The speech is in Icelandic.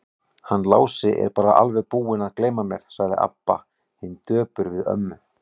Hann Lási er bara alveg búinn að gleyma mér, sagði Abba hin döpur við ömmu.